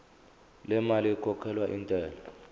lemali ekhokhelwa intela